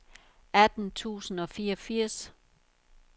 atten tusind og fireogfirs